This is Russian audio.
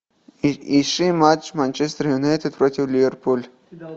ищи матч манчестер юнайтед против ливерпуль